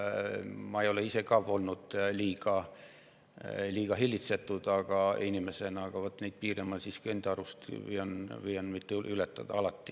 Ma ei ole ka ise inimesena olnud liiga hillitsetud, aga enda arust ma püüan neid piire mitte ületada.